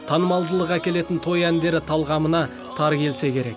танымалдылық әкелетін той әндері талғамына тар келсе керек